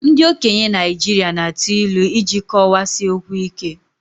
Ndị okenye Naijiria na atụ ilu iji kọwaa si okwu ike